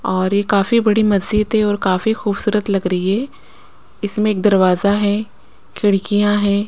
और ये काफी बड़ी मस्जिद है और काफी खूबसूरत लग रही है इसमें एक दरवाज़ा है खिड़कियाँ हैं।